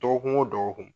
Dɔgɔkun o dɔgɔkun